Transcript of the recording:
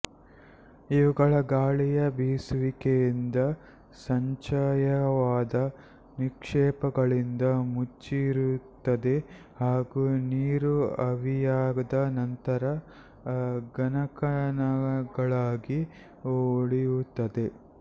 ಇವುಗಳು ಗಾಳಿಯ ಬೀಸುವಿಕೆಯಿಂದ ಸಂಚಯವಾದ ನಿಕ್ಷೇಪಗಳಿಂದ ಮುಚ್ಚಿರುತ್ತದೆ ಹಾಗೂ ನೀರು ಆವಿಯಾದ ನಂತರ ಘನಕಣಗಳಾಗಿ ಉಳಿಯುತ್ತದೆ